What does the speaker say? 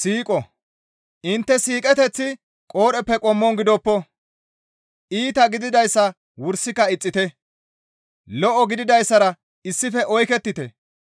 Intte siiqoteththi qoodheppe qommon gidoppo; iita gididayssa wursika ixxite. Lo7o gididayssara issife oykettite.